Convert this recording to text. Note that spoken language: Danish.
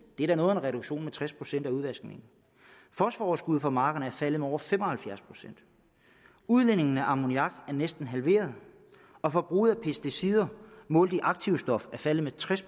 er da noget af en reduktion med tres procent af udvaskningen fosforoverskuddet fra markerne er faldet med over fem og halvfjerds procent udledningen af ammoniak er næsten halveret og forbruget af pesticider målt i aktivstof er faldet med tres